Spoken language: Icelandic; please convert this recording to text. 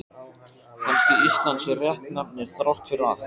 Kannski Ísland sé réttnefni þrátt fyrir allt.